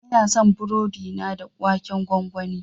Ina son burodi na da waken gwangwani.